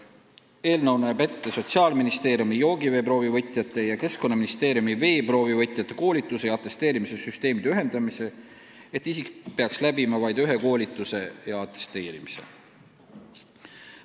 Eelnõu näeb ette Sotsiaalministeeriumi joogiveeproovi võtjate ja Keskkonnaministeeriumi veeproovivõtjate koolituse ja atesteerimissüsteemide ühendamise, et isik peaks läbima vaid ühe koolituse ja atesteerimise.